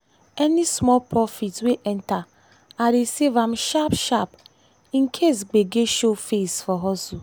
any small profit wey enter i dey save am sharp-sharp in case gbege show face for hustle.